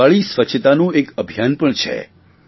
દિવાળી સ્વચ્છતાનું એક અભિયાન પણ છે